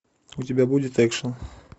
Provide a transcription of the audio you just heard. у тебя будет экшн